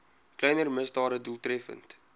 kleiner misdade doeltreffend